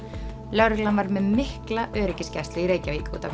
lögregla var með mikla öryggisgæslu í Reykjavík